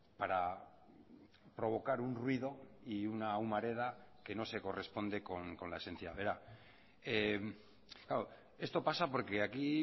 para provocar un ruido y una humareda que no se corresponde con la esencia verá esto pasa porque aquí